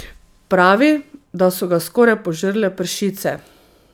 Pravi, da so ga skoraj požrle pršice.